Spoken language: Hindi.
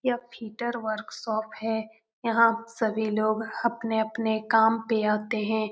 यह फिटर वर्कशॉप है यहाँ सभी लोग अपने-अपने काम पर आते हैं।